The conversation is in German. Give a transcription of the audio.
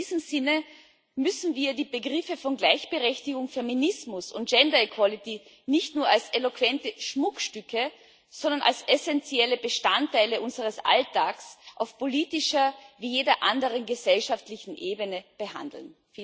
In diesem Sinne müssen wir die Begriffe Gleichberechtigung, Feminismus und gender equality nicht nur als eloquente Schmuckstücke, sondern als essentielle Bestandteile unseres Alltags auf politischer wie jeder anderen gesellschaftlichen Ebene behandeln.